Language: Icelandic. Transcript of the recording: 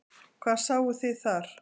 Hvað sáuð þið þar?